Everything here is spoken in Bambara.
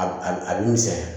A a bi misɛnya